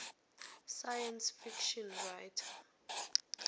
science fiction writer